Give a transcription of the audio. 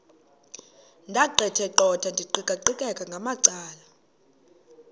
ndaqetheqotha ndiqikaqikeka ngamacala